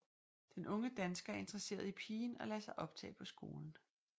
Den unge dansker er interesseret i pigen og lader sig optage på skolen